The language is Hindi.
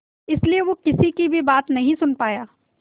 इसलिए वो किसी की भी बात नहीं सुन पाया